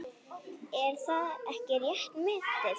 Er það ekki rétt metið?